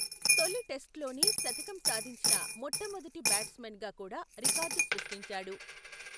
తొలి టెస్ట్ లోనే శతకం సాధించిన మొట్టమొదటి బ్యాట్సమెన్ గా కూడా రికార్డు సృష్టించాడు.